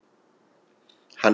Hann hefur farið á bak við þig.